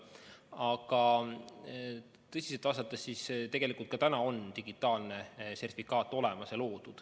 Aga kui tõsiselt vastata, siis juba praegu on digitaalne sertifikaat olemas.